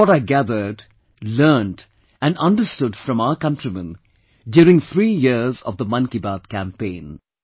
This is what I gathered, learnt and understood from our countrymen during three years of the Mann Ki Baat campaign